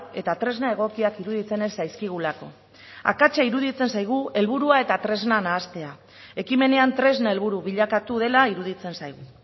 eta tresna egokiak iruditzen ez zaizkigulako akatsa iruditzen zaigu helburua eta tresna nahastea ekimenean tresna helburu bilakatu dela iruditzen zaigu